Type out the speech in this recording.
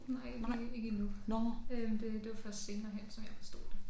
Nej ikke i ikke endnu øh det det var først senere hen som jeg forstod det